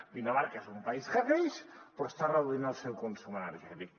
dinamarca és un país que creix però està reduint el seu consum energètic